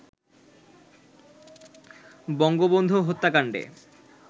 Bangabandhu হত্যাকান্ডে